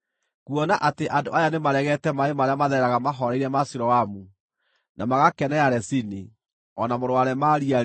“Kuona atĩ andũ aya nĩmaregete maaĩ marĩa mathereraga mahooreire ma Siloamu, na magakenera Rezini o na mũrũ wa Remalia-rĩ,